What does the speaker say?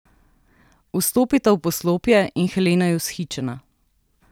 Vstopita v poslopje in Helena je vzhičena.